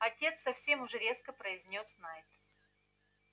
отец совсем уж резко произнёс найд